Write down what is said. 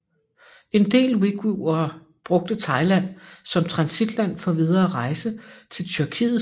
En del uighurere brugte Thailand som transitland for videre rejse til Tyrkiet